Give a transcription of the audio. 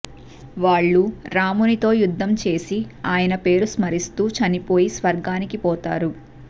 వాళ్ళు రామునితో యుద్ధం చేసి ఆయన పేరు స్మరిస్తూ చనిపోయి స్వర్గానికి పోతారు